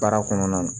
Baara kɔnɔna na